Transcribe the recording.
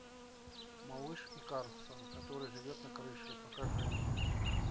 малыш и карлсон который живет на крыше покажи мне